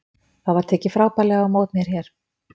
Það var tekið frábærlega á mót mér hérna.